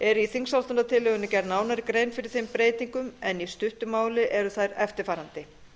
er í þingsályktunartillögunni gerð nánari grein fyrir þeim breytingum en í stuttu máli eru þær eftirfarandi